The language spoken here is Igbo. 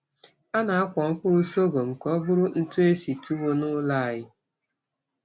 A na-akwọ mkpụrụ sọgọm ka ọ bụrụ ntụ esi tuwo n’ụlọ anyị.